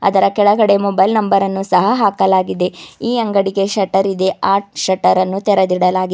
ಅದರ ಕೆಳಗಡೆ mobile number ಅನ್ನು ಸಹ ಹಾಕಲಾಗಿದೆ ಈ ಅಂಗಡಿಗೆ ಶೆಟ್ಟರ್ ಇದೆ ಆ ಶೆಟ್ಟರ್ ಅನ್ನು ತೆರದಿಡಲಾಗಿದ್ --